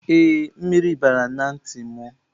Ee, mmiri bara na ntị m.